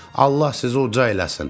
Allah sizi uca eləsin.